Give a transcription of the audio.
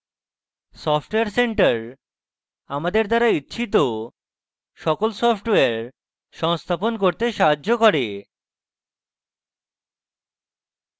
software center আমাদের দ্বারা ইচ্ছিত সকল সফটওয়্যার সংস্থাপন করতে সাহায্য করে